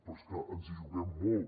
però és que ens hi juguem molt